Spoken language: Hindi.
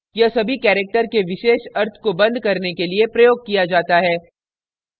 * यह सभी characters के विशेष अर्थ को बंद करने के लिए प्रयोग किया जाता है